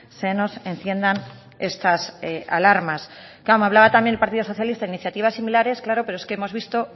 se nos enciendan estas alarmas claro me hablaba también el partido socialista iniciativas similares claro pero es que hemos visto